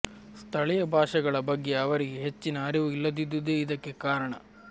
ಸ್ಥಳೀಯ ಭಾಷೆಗಳ ಬಗ್ಗೆ ಅವರಿಗೆ ಹೆಚ್ಚಿನ ಅರಿವು ಇಲ್ಲದಿದ್ದುದೇ ಇದಕ್ಕೆ ಕಾರಣ